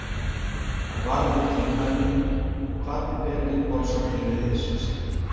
Hann varð við tilmælunum og kvaddi Benedikt Pálsson til liðs við sig.